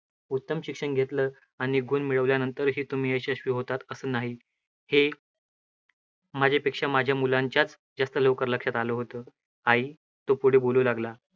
उत्तम शिक्षण घेतलं आणि गुण मिळवल्या नंतरही तुम्ही यशस्वी होतात. असं नाही, हे माझ्यापेक्षा माझ्या मुलांच्याचं जास्त लवकर लक्षात आलं होतं. आई, तो पुढे बोलू लागला.